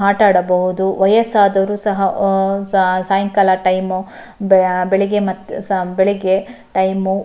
ಆಟ ಆಡಬಹುದು ವಯ್ಯಸ್ಸಾದವರು ಸಹ ಆಹ್ಹ್ ಸಾಯಂಕಾಲ ಟೈಮ್ ಮತ್ತೆ ಬೆಳಿಗ್ಗೆ ಮ ಬೆಳಿಗ್ಗೆ ಟೈಮ್ --